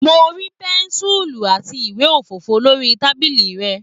Mo rí pẹ́ńsùlù àti ìwé òfìfọ lórí tábìlì rẹ̀.